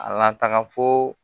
A la taga foo